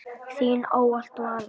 Þín ávallt, Vala.